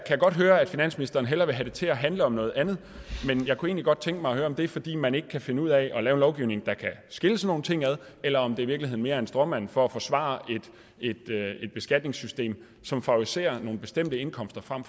jeg godt høre at finansministeren hellere vil have det til at handle om noget andet men jeg kunne egentlig godt tænke mig at høre om det er fordi man ikke kan finde ud af at lave en lovgivning der kan skille sådan nogle ting ad eller om det i virkeligheden mere er en stråmand for at forsvare et beskatningssystem som favoriserer nogle bestemte indkomster frem